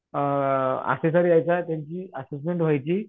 अ यायचा त्यांची असिस्टंट व्हायची